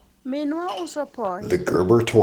minwa uso poyi